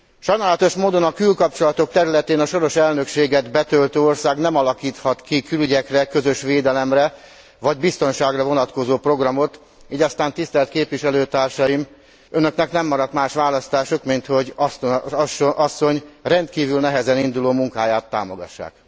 Sajnálatos módon a külkapcsolatok területén a soros elnökséget betöltő ország nem alakíthat ki külügyekre, közös védelemre vagy biztonságra vonatkozó programot, így aztán, tisztelt képviselőtársaim, Önöknek nem maradt más választásuk, minthogy Ashton asszony rendkívül nehezen induló munkáját támogassák.